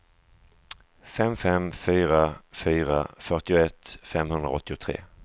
fem fem fyra fyra fyrtioett femhundraåttiotre